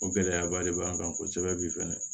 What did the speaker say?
O gɛlɛyaba de b'an kan kosɛbɛ bi fɛnɛ